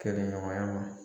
Kɛlɛɲɔgɔnya ma.